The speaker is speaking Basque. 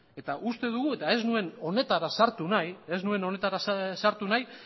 eta uste dugu eta ez nuen honetara sartu nahi